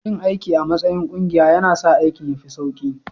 Yin aiki a matsayin ƙungiya yana sa aikin ya fi sauƙi